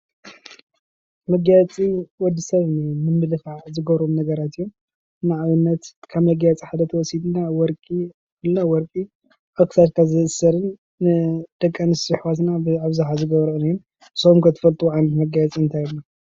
መጋየፂ ወዲሰብ ንምምልካዕ ዝገብሮም ነገራት እዮም። ንኣብነት ከም መጋየፂ ሓደ እንተወሲድና ወርቂ ኣብ ክሳድካ ዝእሰርን ደቂ ኣንስት ኣሕዋትና ብኣብዝሓ ዝገብርኦ እዩ፡፡ ንስኩም ከ እትፈልጥዎ ዓይነታት መጋየፂ እንታይ ኣሎ?